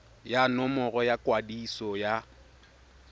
ya nomoro ya kwadiso ya